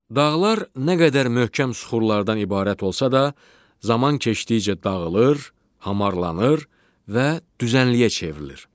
Dağlar nə qədər möhkəm süxurlardan ibarət olsa da, zaman keçdikcə dağılır, hamarlanır və düzənliyə çevrilir.